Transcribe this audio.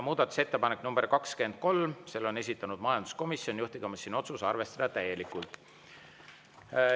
Muudatusettepanek nr 23, esitaja majanduskomisjon, juhtivkomisjoni otsus: arvestada täielikult.